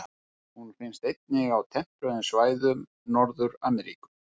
Hún finnst einnig á tempruðum svæðum Norður-Ameríku.